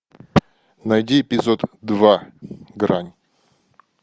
найди эпизод два грань